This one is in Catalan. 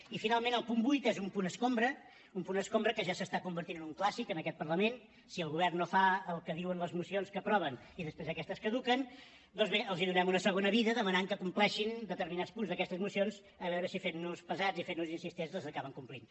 i finalment el punt vuit és un punt escombra un punt escombra que ja s’està convertint en un clàssic en aquest parlament si el govern no fa el que diuen les mocions que aprova i després aquestes caduquen doncs bé els donem una segona vida i els demanem que compleixin determinats punts d’aquestes mocions a veure si fent nos pesats i fent nos insistents les acaben complint